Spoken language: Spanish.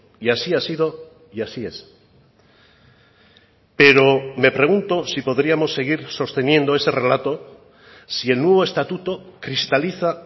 y así ha sido y así es pero me pregunto si podríamos seguir sosteniendo ese relato si el nuevo estatuto cristaliza